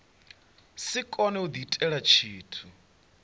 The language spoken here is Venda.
si kone u diitela tshithu